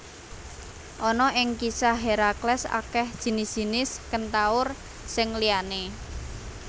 Ana ing kisah Herakles akeh jinis jinis kentaur sing liyané